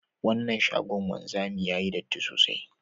Wannan shagon wanzami yayi datti sosai